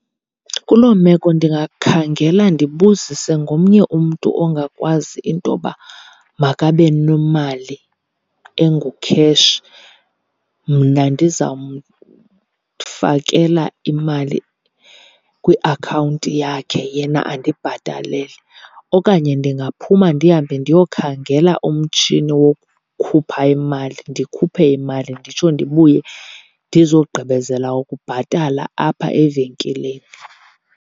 Kuloo meko ndingakhangela ndibuzise ngomnye umntu ongakwazi intoba makabe nemali engukheshi, mna ndizamfakela imali kwiakhawunti yakhe yena andibhatalele. Okanye ndingaphuma ndihambe ndiyokhangela umtshini wokukhupha imali ndikhuphe imali nditsho ndibuye ndizogqibezela ukubhatala apha evenkileni.